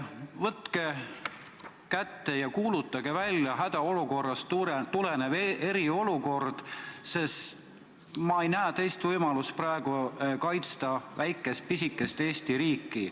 Võtke kätte ja kuulutage välja hädaolukorrast tulenev eriolukord, sest ma ei näe praegu teist võimalust kaitsta väikest, pisikest Eesti riiki.